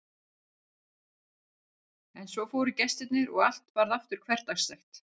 En svo fóru gestirnir og allt varð aftur hversdagslegt.